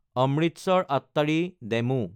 অমৃতসৰ–আট্টাৰি DEMU